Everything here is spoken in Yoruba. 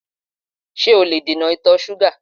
Ṣé o lè dènà ìtọ̀ ṣúgà?